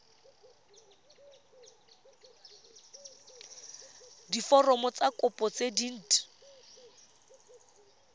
diforomo tsa kopo tse dint